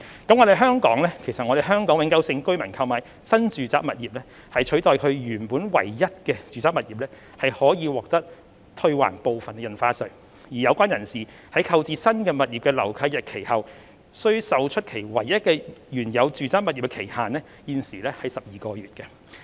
而香港永久性居民購買新住宅物業取代原本唯一的住宅物業，可以獲得退還部分印花稅，有關人士在購置新的物業後，須售出其唯一的原有住宅物業的期限現時為12個月。